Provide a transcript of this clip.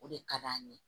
O de ka d'an ye